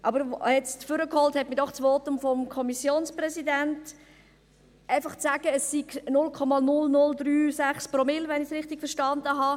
Ans Rednerpult gebracht hat mich das Votum des Kommissionspräsidenten, der gemeint hat, es seien bloss 0,0036 Promille, wenn ich es richtig verstanden habe.